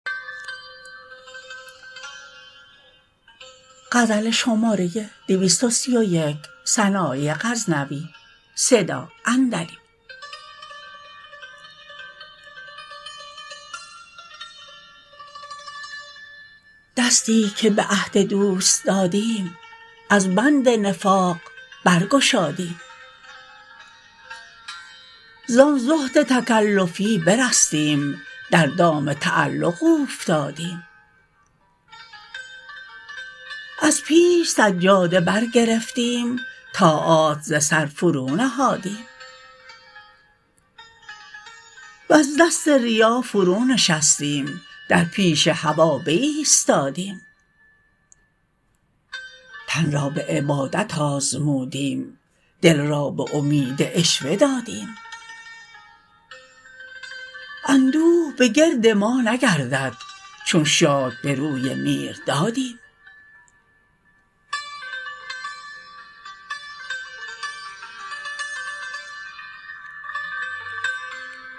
دستی که به عهد دوست دادیم از بند نفاق برگشادیم زان زهد تکلفی برستیم در دام تعلق اوفتادیم از پیش سجاده بر گرفتیم طاعات ز سر فرو نهادیم وز دست ریا فرو نشستیم در پیش هوا بایستادیم تن را به عبادت آزمودیم دل را به امید عشوه دادیم اندوه به گرد ما نگردد چون شاد به روی میر دادیم